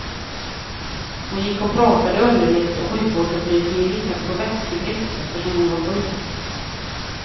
Hon gick och pratade underligt och sjukvårdsupplysningen gissade på vätskebrist, eftersom hon var sjuk.